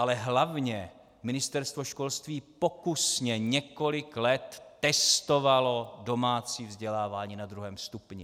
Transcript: Ale hlavně Ministerstvo školství postupně několik let testovalo domácí vzdělávání na 2. stupni.